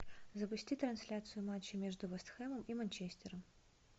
запусти трансляцию матча между вестхэмом и манчестером